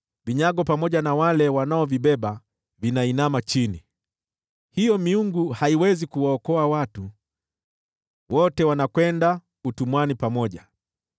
Vinyago pamoja na wale wanaovibeba wanainama chini; hiyo miungu haiwezi kuwaokoa watu, wote wanakwenda utumwani pamoja.